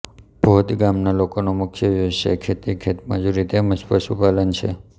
ભોદ ગામના લોકોનો મુખ્ય વ્યવસાય ખેતી ખેતમજૂરી તેમ જ પશુપાલન છે